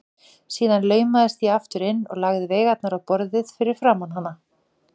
Síðan laumaðist ég aftur inn og lagði veigarnar á borðið fyrir framan hana.